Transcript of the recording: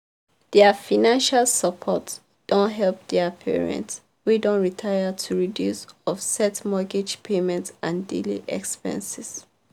their financial support don help their parents wey don retire to reduce offset mortgage payments and daily expenses.